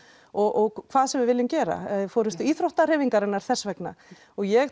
og hvað sem við viljum gera forystu íþróttahreyfingarinnar þess vegna og ég